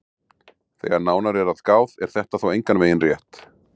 Þegar nánar er að gáð er þetta þó engan veginn rétt.